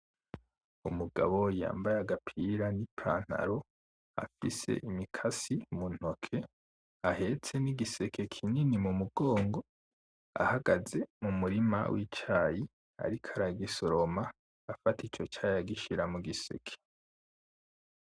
Umugabo yambaye agapira n'ipantalo afise imikasi mu ntoke ahetse n'igiseke kinini ku mugongo ahagaze mu murima w'icayi ariko aragisoroma afata ico cayi agishira mu giseke.